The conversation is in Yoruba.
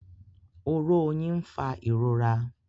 Oró oyin n'fa ìrora